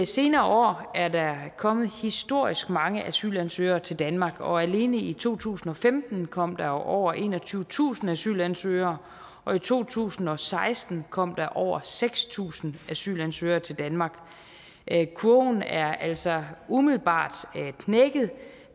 senere år er der kommet historisk mange asylansøgere til danmark og alene i to tusind og femten kom der over enogtyvetusind asylansøgere og i to tusind og seksten kom der over seks tusind asylansøgere til danmark kurven er altså umiddelbart knækket